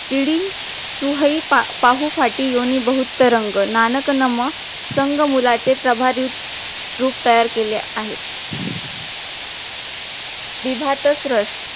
चिडी चुहइ पाहूफाटी योनी बहुतरंग नानक नाम सग मुलाचे प्रभावित रूप तयार केले आहे विभातसरास